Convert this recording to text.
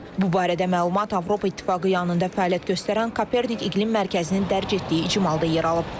Bu barədə məlumat Avropa İttifaqı yanında fəaliyyət göstərən Kopernik İqlim Mərkəzinin dərc etdiyi icmalda yer alıb.